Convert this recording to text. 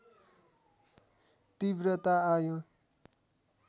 तीव्रता आयो